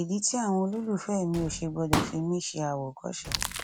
ìdí tí àwọn olólùfẹ mi ò ṣe gbọdọ fi mí ṣe àwòkọṣe